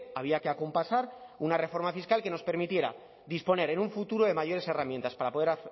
había que acompasar una reforma fiscal que nos permitiera disponer en un futuro de mayores herramientas para poder